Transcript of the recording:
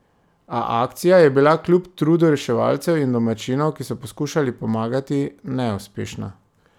A akcija je bila kljub trudu reševalcev in domačinov, ki so poskušali pomagati, neuspešna.